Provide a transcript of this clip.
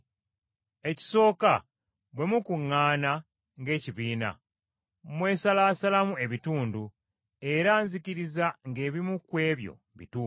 Ekisooka bwe mukuŋŋaana ng’ekibiina, mwesalaasalamu ebitundu, era nzikiriza ng’ebimu ku ebyo bituufu.